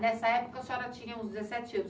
Nessa época a senhora tinha uns dezessete anos.